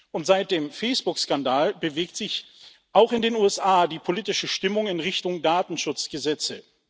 Und seit dem Facebook Skandal bewegt sich auch in den USA die politische Stimmung in Richtung Datenschutzgesetze.